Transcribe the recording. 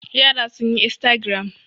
Yara sun yi instagram.